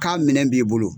K'a minɛ b'i bolo